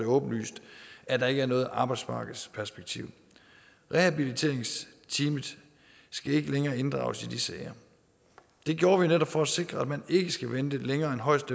åbenlyst at der ikke er noget arbejdsmarkedsperspektiv rehabiliteringsteamet skal ikke længere inddrages i de sager det gjorde vi netop for at sikre at man ikke skal vente længere end højst